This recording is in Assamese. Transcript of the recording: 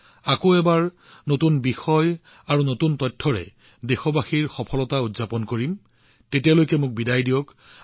আমি পুনৰ নতুন বিষয় আৰু নতুন তথ্যৰ সৈতে দেশবাসীৰ সফলতা উদযাপন কৰিম তেতিয়ালৈকে মই আপোনালোকৰ পৰা বিদায় লৈছো